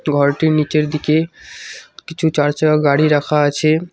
ঘরটির নীচের দিকে কিছু চার চাকা গাড়ি রাখা আছে।